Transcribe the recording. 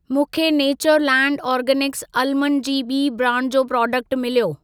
मूंखे Natureland Organics almond जी ॿी ब्रांड जो प्रोडक्ट मिलियो।